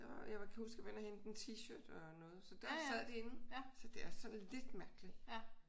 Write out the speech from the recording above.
Jeg kan huske jeg var inde at hente en t-shirt og noget så der sad de inde så det er sådan lidt mærkeligt